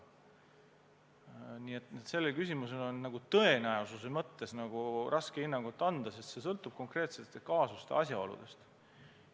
Nii et sellele küsimusele on tõenäosuse mõttes raske hinnangut anda, sest see sõltub konkreetsete kaasuste asjaoludest.